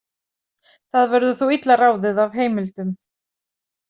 Það verður þó illa ráðið af heimildum.